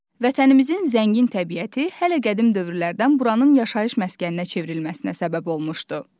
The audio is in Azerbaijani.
Vətənimizin zəngin təbiəti hələ qədim dövrlərdən buranın yaşayış məskəninə çevrilməsinə səbəb olmuşdu.